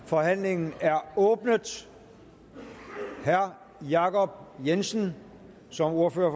forhandlingen er åbnet herre jacob jensen som ordfører